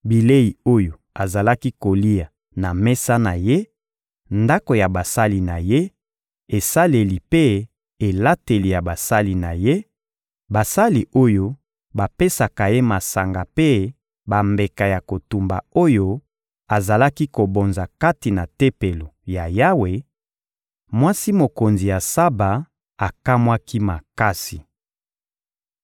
bilei oyo azalaki kolia na mesa na ye, ndako ya basali na ye, esaleli mpe elateli ya basali na ye, basali oyo bapesaka ye masanga mpe bambeka ya kotumba oyo azalaki kobonza kati na Tempelo ya Yawe, mwasi mokonzi ya Saba akamwaki makasi.